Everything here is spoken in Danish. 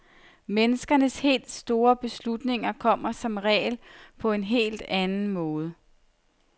Menneskers helt store beslutninger kommer som regel på en helt anden måde.